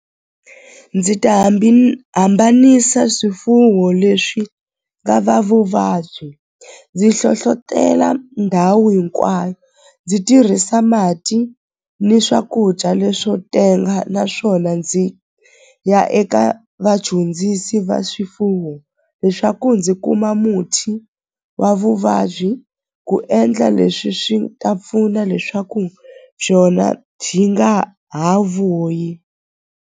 Ndzi ta hambanisa swifuwo leswi nga na vuvabyi ndzi hlohlotela ndhawu hinkwayo ndzi tirhisa mati ni swakudya leswo tenga naswona ndzi ya eka vadyondzisi va swifuwo leswaku ndzi kuma muthi wa vuvabyi ku endla leswi swi ta pfuna leswaku xona xi nga ha vuyi.